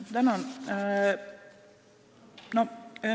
Tänan!